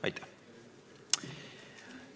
Aitäh!